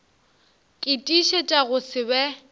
ke tiišetša go se be